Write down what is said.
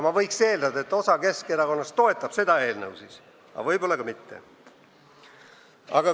Ma eeldan, et osa Keskerakonnast siis toetab seda eelnõu, aga võib-olla ka mitte.